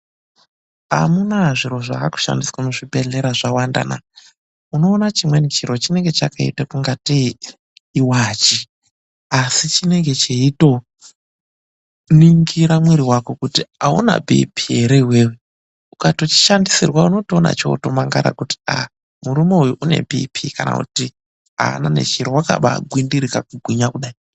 Amunaa zviro zvaa kushandiswa muzvibhedhlera zvawanda naa! Unoona chimweni chiro chinenge chakaita ungatei iwachi asi chinenge cheitoningira mwiri wako kuti auna BP ere iwewe. Ukachishandisirwa unotoona chootomangara kuti ah! murume uyu une BP kana kuti ah! aana nechiro wakabaagwindirika kugwinya kudai.